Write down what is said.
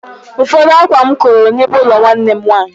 Ụfọdụ ákwá m koro n'ime ụlọ nwanne m nwaanyị.